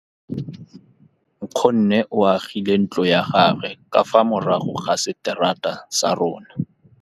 Nkgonne o agile ntlo ya gagwe ka fa morago ga seterata sa rona.